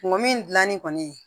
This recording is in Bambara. Ngɔ min dilanni kɔni